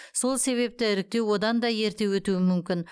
сол себепті іріктеу одан да ерте өтуі мүмкін